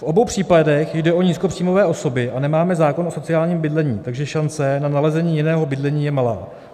V obou případech jde o nízkopříjmové osoby a nemáme zákon o sociálním bydlení, takže šance na nalezení jiného bydlení je malá.